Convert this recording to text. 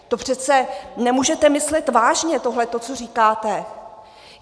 To přece nemůžete myslet vážně tohleto, co říkáte?